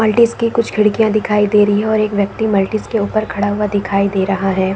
मल्टीस की कुछ खिड़किया दिखाई दे रही है और एक व्यक्ति मल्टीस के ऊपर खड़ा हुआ दिखाई दे रहा है।